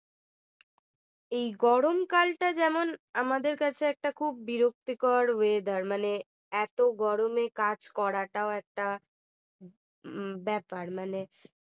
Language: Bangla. এই গরমকালটা যেমন আমাদের কাছে একটা খুব বিরক্তিকর weather মানে এত গরমে কাজ করাটাও একটা ব্যাপার মানে